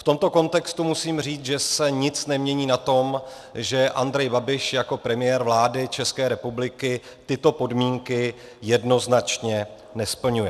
V tomto kontextu musím říct, že se nic nemění na tom, že Andrej Babiš jako premiér vlády České republiky tyto podmínky jednoznačně nesplňuje.